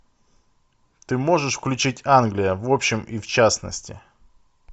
ты можешь включить англия в общем и в частности